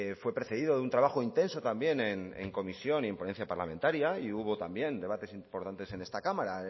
fue precedido de un trabajo intenso también en comisión y en ponencia parlamentaria y hubo también debates importantes en esta cámara